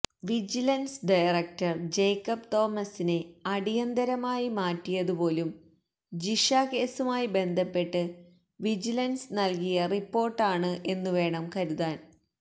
vigilance director Jacob തോമസിനെ അടിയന്തരമായി മാറ്റിയതു പോലും ജിഷ കേസുമായി ബന്ധപ്പെട്ട് വിജിലന്സ് നല്കിയ റിപ്പോര്ട്ടാണ് എന്നുവേണം കരുതാന്